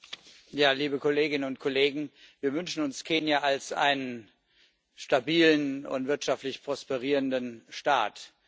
Herr Präsident, liebe Kolleginnen und Kollegen! Wir wünschen uns Kenia als einen stabilen und wirtschaftlich prosperierenden Staat.